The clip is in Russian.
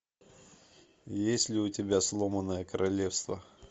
есть ли у тебя сломанное королевство